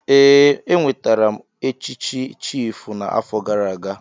Ee, enwetara m echichi chiịfụ n'afọ gara aga.